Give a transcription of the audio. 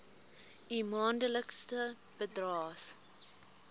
u maandelikse bydraes